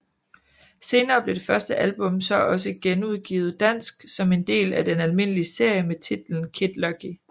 Senere blev det første album så også genudgivet dansk som en del af den almindelige serie med titlen Kid Lucky